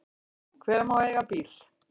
Hver má eiga bíl?